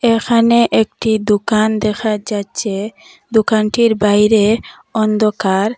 এখানে একটি দোকান দেখা যাচ্ছে দোকানটির বাইরে অন্ধকার।